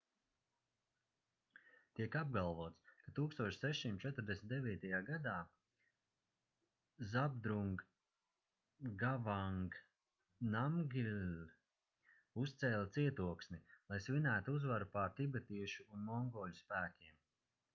tiek apgalvots ka 1649. gadā zhabdrung ngawang namgyel uzcēla cietoksni lai svinētu uzvaru pār tibetiešu un mongoļu spēkiem